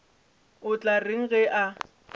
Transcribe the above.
o tla reng ge a